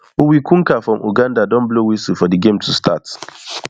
uwikunka from uganda don blow whistle for di game to start